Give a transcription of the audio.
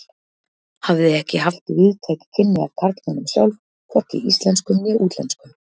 Hafði ekki haft víðtæk kynni af karlmönnum sjálf, hvorki íslenskum né útlenskum.